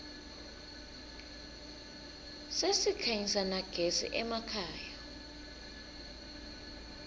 sesikhanyisa nagezi emakhaya